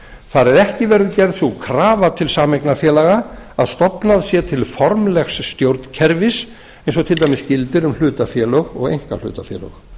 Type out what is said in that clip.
það að ekki verði gerð sú krafa til sameignarfélaga að stofnað sé til formlegs stjórnkerfis eins og til dæmis gildir um hlutafélög og einkahlutafélög